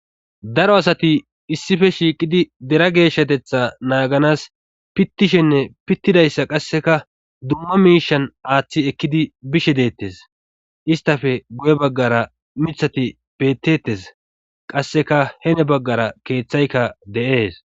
daro asati issife shiiqidi dera geeshshatetha naaganas pittishenne pittidayssa qasseka dumma miishan aaththi ekkidi bishe deettes istafe guye baggara mithati bettettes qasseka hene baggara keeththaykka de'ees